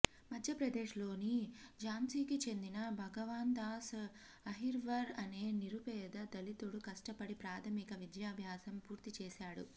మధ్యప్రదేశ్ లోని ఝాన్సీకి చెందిన భగవాన్ దాస్ అహిర్వర్ అనే నిరుపేద దళితుడు కష్టపడి ప్రాథమిక విద్యాబ్యాసం పూర్తి చేశాడు